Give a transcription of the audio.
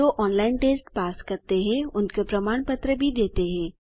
जो online test pass करते हैं उनको प्रमाण पत्र भी देते हैं